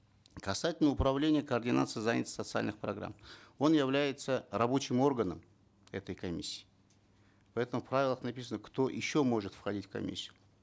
касательно управления координации занятости социальных программ он является рабочим органом этой комиссии поэтому в правилах написано кто еще может входить в комиссию